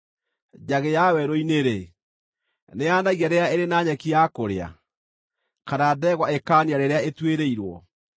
Njagĩ ya werũ-inĩ-rĩ, nĩyaanagia rĩrĩa ĩrĩ na nyeki ya kũrĩa, kana ndegwa ĩkaania rĩrĩa ĩtuĩrĩirwo?